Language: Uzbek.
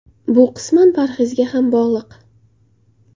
Bu qisman parhezga ham bog‘liq.